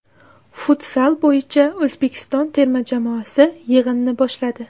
Futzal bo‘yicha O‘zbekiston terma jamoasi yig‘inni boshladi.